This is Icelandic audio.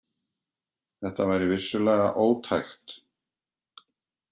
Þetta væri vissulega ótækt.